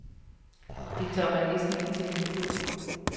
Det tør man næsten ikke tænke på.